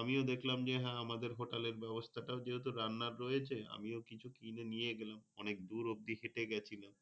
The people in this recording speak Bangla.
আমিও দেখলাম যে হ্যাঁ আমাদের হোটেলে ব্যাবস্থাটা ও রান্নার রয়েছে আমিও কিছু আমিও কিছু কিনে নিয়ে গিয়েছিলা। অনেক দূর অব্দি হেটে গিয়েছিলাম